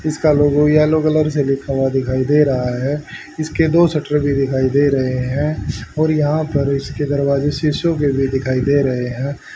इसका logo yellow colour से लिखा हुआ दिखाई दे रहा है। इसके दो शटर भी दिखाई दे रहे है और यहां पर इसके दरवाजे शीशे के भी दिखाई दे रहे हैं।